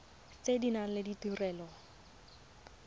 tse di nang le ditirelo